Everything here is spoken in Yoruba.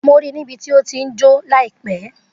Mo ri ní bí to ti jo laipe